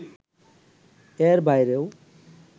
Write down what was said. এর বাইরেও